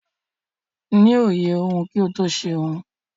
Ni òye ohun kí o tó ṣe ohun.